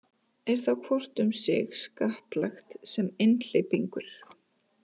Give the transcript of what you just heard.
Er þá hvort um sig skattlagt sem einhleypingur.